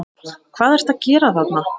HVAÐ ERTU AÐ GERA ÞARNA!